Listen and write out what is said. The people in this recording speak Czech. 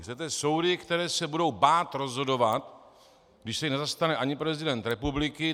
Chcete soudy, které se budou bát rozhodovat, když se jich nezastane ani prezident republiky?